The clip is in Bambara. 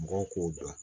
Mɔgɔw k'o dɔn